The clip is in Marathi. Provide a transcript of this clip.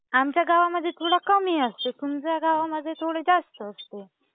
आमच्या गावामध्ये थोडं कमी असते, तुमच्या गावांमध्ये थोडं जास्त असते.